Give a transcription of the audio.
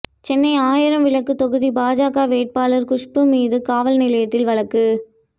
சென்னை ஆயிரம் விளக்கு தொகுதி பாஜக வேட்பாளர் குஷ்பு மீது காவல்நிலையத்தில் வழக்கு